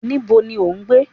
Níbo ni o ń gbé?